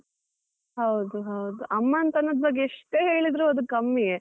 ಹೌದು ಹೌದು, ಅಮ್ಮನ್ ತನದ ಬಗ್ಗೆ ಎಷ್ಟು ಹೇಳಿದ್ರು ಅದು ಕಮ್ಮಿಯೇ.